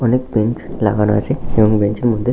অনেক বেঞ্চ লাগানো আছে এবং বেঞ্চ -এর মধ্যে--